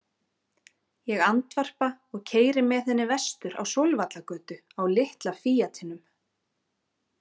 Ég andvarpa og keyri með henni vestur á Sólvallagötu á litla Fíatinum.